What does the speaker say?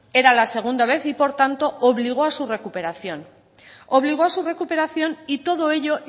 era la segunda vez y por tanto obligó a su recuperación obligó a su recuperación y todo ello